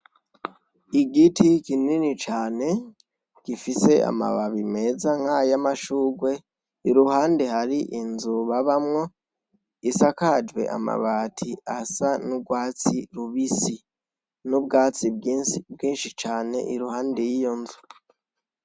Igiti kinini cane gifise amababi meza nk'ay'amashurwe iruhande hari inzu babamwo, isakajwe amabati asa n'urwatsi rubisi, n'ubwatsi bwinshi cane iruhande y'iyo nzu.